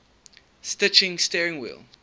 stitching steering wheel